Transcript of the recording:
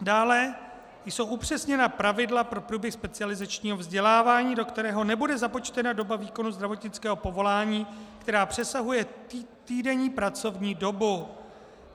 Dále jsou upřesněna pravidla pro průběh specializačního vzdělávání, do kterého nebude započtena doba výkonu zdravotnického povolání, která přesahuje týdenní pracovní dobu.